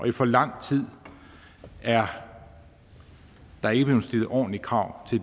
i for lang tid er der ikke blevet stillet ordentlige krav til